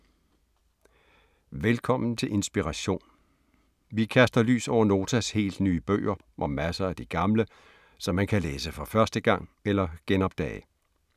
Velkommen til Inspiration. Vi kaster lys over Notas helt nye bøger og masser af de gamle, som man kan læse for første gang eller genopdage.